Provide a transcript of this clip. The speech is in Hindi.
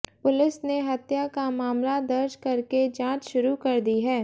पुलिस ने हत्या का मामला दर्ज करके जांच शुरू कर दी है